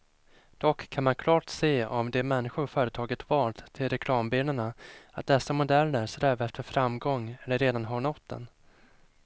Dock kan man klart se av de människor företaget valt till reklambilderna, att dessa modeller strävar efter framgång eller redan har nått den.